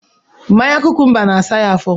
Mmanya kụkụmbá na asa ya afo